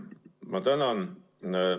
Ma tänan!